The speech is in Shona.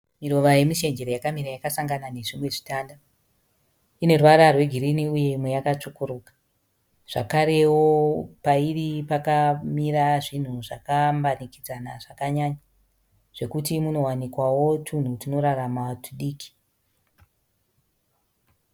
Miruva yemushengere yakamira yakasangana nezvimwe zvitanda. Ine ruvara rwegirini uye imwe yakatsvukuruka zvakarewo pairi pakamira zvinhu zvakambanikidzana zvakanyanya zvokuti munowanikwawo twunhu twunorarama twudiki.